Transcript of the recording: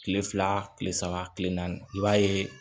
Kile fila kile saba kile naani i b'a ye